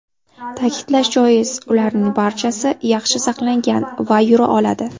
Ta’kidlash joiz, ularning barchasi yaxshi saqlangan va yura oladi.